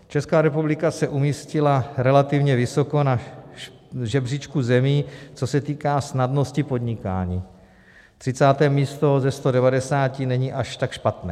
Česká republika se umístila relativně vysoko na žebříčku zemí, co se týká snadnosti podnikání - 30. místo ze 190 není až tak špatné.